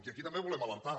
i aquí també ho volem alertar